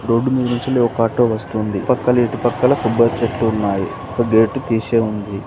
రొడ్డు మీదినుంచెల్లి ఒక ఆటో వస్తూంది పక్కల ఇటుపక్కల కొబ్బరి చెట్లు ఉన్నాయి ఒక గేటు తీశేఉంది.